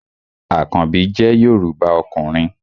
Àkanbí jẹ́ Yorùbá ọkùnrin